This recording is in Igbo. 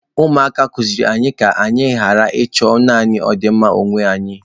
Ụmụaka kụziiri anyị ka anyị ghara ịchọ naanị ọdịmma onwe anyị.